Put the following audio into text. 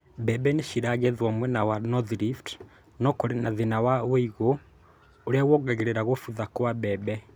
Mbembe nĩ ciragethwo mwena wa North Rift na kũrĩ na thĩna wa ũigũ ũrĩa wongagĩrĩra kũbutha kwa mbembe